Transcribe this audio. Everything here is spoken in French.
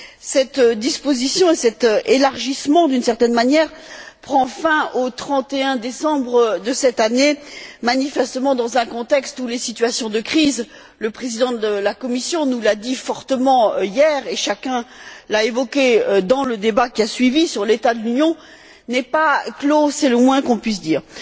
Ces dispositions, et cet élargissement, d'une certaine manière, prennent fin au 31 décembre de cette année, manifestement dans un contexte où les situations de crise le Président de la Commission nous l'a dit fortement hier, et chacun l'a évoqué dans le débat qui a suivi sur l'état de l'Union ne sont pas closes, c'est le moins que l'on puisse dire.